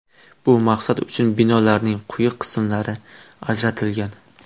Bu maqsad uchun binolarning quyi qismlari ajratilgan.